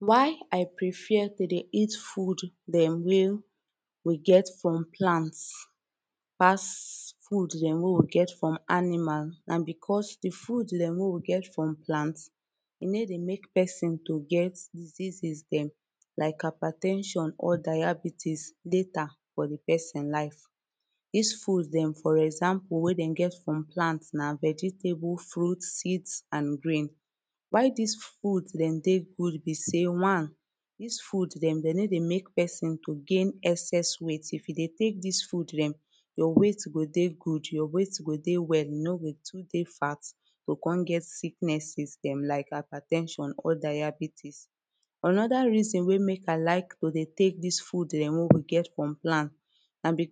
Why I prefer to dey eat food dem wey we get from plant pass food dem wey we get from animal and because the food dem wey we get from plant e no dey make person dey get diseases dem like hyper ten sion or diabetes later for the person life this food dem for example wey dem get from plant na vegetable fruit seeds and grains this food dem dey good be say one this food them dem no dey make person to gain excess weight if e dey take this food dem your weight go dey good your weight go dey well you no go too dey fat you go come get sicknesses like hyper ten sion or diabetes anoda reason wey make I like to dey take this food eh wey we get from plant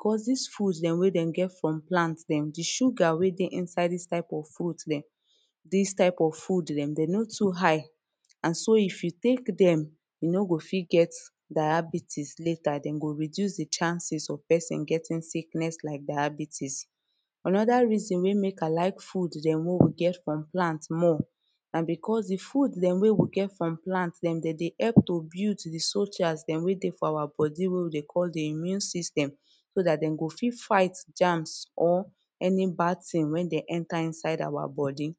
cause this food dem wey dem get from plant. The sugar weydey inside this kind of fruit dem dey no too high and so if you take dem you no go fit get diabetes later dem go reduce the chances on getting sickness like diabetes anoda reason wey make I like food dem wey we get from plant more na because the food dem wey we get from plant dem dem dey help to build the soldiers dem wey dey for our body wey we dey call the immune system so that dem go fit fight germs or any bad thing wey dey enter inside our body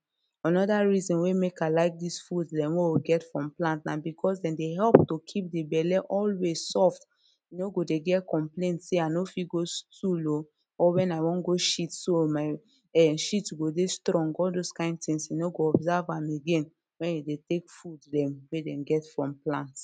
Anoda reason wey make I like this food dem wey we get from plant na because dem dey help to keep the belle always soft you no go dey get complaints say I no fit go stool oo or when I wan go shit so my shit eh my shit go dey strong all this kind things you no go observe am again when you take food dem wey dem get from plants.